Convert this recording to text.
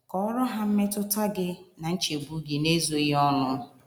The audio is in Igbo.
Kọọrọ ha mmetụta gị na nchegbu gị n’ezoghị ọnụ.